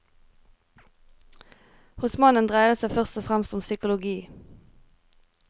Hos mannen dreier det seg først og fremst om psykologi.